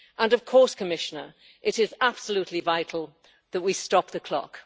Of course, Commissioner, it is absolutely vital that we stop the clock.